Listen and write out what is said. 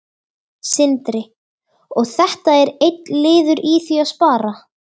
Sindri: Og þetta er einn liður í því að spara?